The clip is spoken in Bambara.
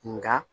Nka